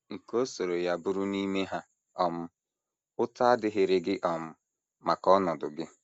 Nke ọ sọrọ ya bụrụ n’ime ha um, ụta adịghịrị gị um maka ọnọdụ gị.